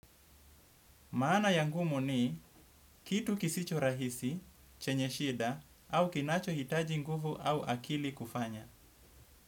Maana ya ngumu ni kitu kisicho rahisi, chenye shida au kinacho hitaji nguvu au akili kufanya.